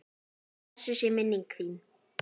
Blessuð sé minning þín!